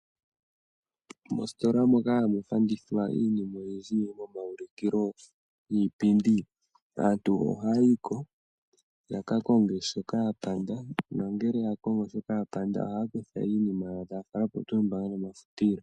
Mositola moka hamu fandithwa iinima oyindji yili momaulikilo niipindi, aantu ohaya yiko ya ka konge shoka ya panda nongele ya kongo shoka ya panda ohaya kutha iinima yawo taya fala pomafutilo.